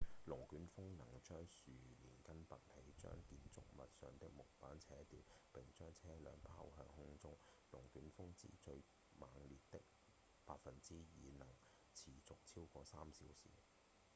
龍捲風能將樹連根拔起將建築物上的木板扯掉並將車輛拋向空中龍捲風之中最猛烈的 2% 能持續超過3小時